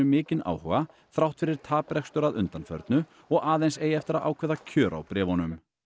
mikinn áhuga þrátt fyrir taprekstur að undanförnu og aðeins eigi eftir að ákveða kjör á bréfunum